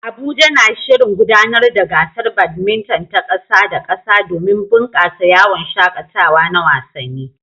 Abuja na shirin gudanar da gasar badminton ta ƙasa da ƙasa domin bunƙasa yawon shaƙatawa na wasanni.